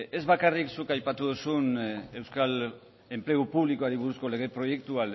ez bakarrik zuk aipatu duzun euskal enplegu publikoari buruzko lege proiektua